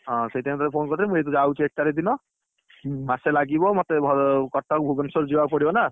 ହଁ, ସେଥିପାଇଁ ତୋତେ phone କରିଥିଲି ମୁଁ ଯାଉଛି। ଏକ ତାରିଖ ଦିନ, ହୁଁ, ମାସେ ଲାଗିବ ମୋତେ, କଟକ, ଭୁବନେଶ୍ୱର ଯିବାକୁ ପଡିବନା।